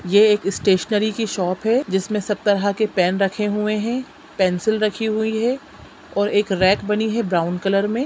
ये एक स्टेशनरी की शॉप हैं जिसमें सब तरह के पेन रखे हुए हैं पेंसिल रखी हुई हैं और एक रैक बनी हैं ब्राउन कलर में--